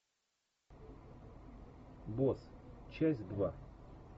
босс часть два